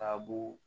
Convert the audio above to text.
Ka b'o